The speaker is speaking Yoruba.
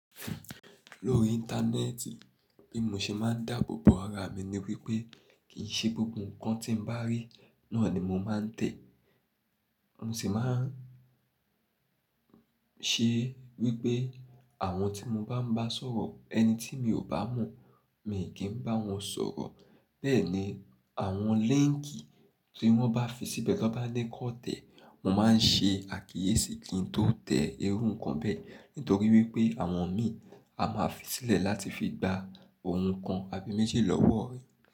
Lórí íńtánẹ́ẹ̀tì, bí mo ṣe máa ń dàbọ̀bọ̀ ara mi ni wípé kì í ṣe gbogbo nǹkan tí m bá rí náà ni mo máa ń tẹ̀. Mo sì máa ń ṣe wípé àwọn tí mo bá ń bá sọ̀rọ̀, ẹni tí mi ò bá mọ̀, mi kì í bá wọn sọ̀rọ̀. Bẹ́ẹ̀ni, àwọn líńkì tí wọ́n bá fi síbẹ̀, tí wọ́n bá ní kó tẹ̀, mo máa ń ṣe àkíyèsí kí n tó tẹ̀ẹ́ irú ǹkan bẹ́ nítorí wípé àwọn ìmí a máa fi sílẹ̀ láti fi gba ohun kan àbí méjì lọ́wọ́ rẹ.